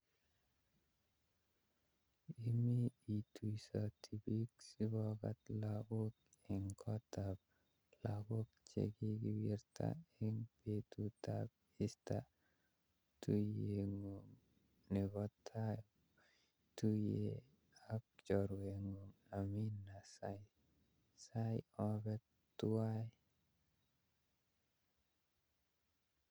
Imi ituisoti biik sipokat lakok eng kotap lajok chekikiwirta eng betutab easter, tuiyengung nebo tai kiotuye ak chorwenung Amina, saisai ope tuwai